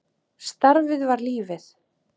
Starfið var lífið.